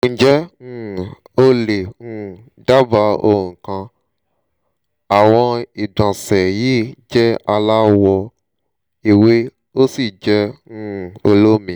ǹjẹ́ um o lè um dábàá ohun kan? àwọn ìgbọ̀nsẹ̀j yìí jẹ́ alawọ̀ ewé ósì jẹ́ um olómi